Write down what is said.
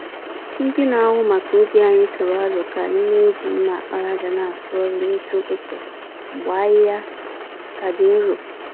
Ndị na-ahụ maka ubi anyị tụrụ aro ka anyị n'eji mma àkpàràjà n'asụ ọrụ n'isi ụtụtụ mgbe ahịhịa ka dị nro.